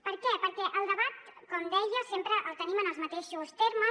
per què perquè el debat com deia sempre el tenim en els mateixos termes